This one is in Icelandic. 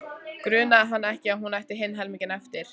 Grunaði hann ekki að hún ætti hinn helminginn eftir?